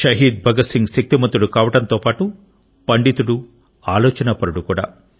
షహీద్ భగత్ సింగ్ శక్తిమంతుడు కావడంతో పాటు పండితుడు ఆలోచనాపరుడు కూడా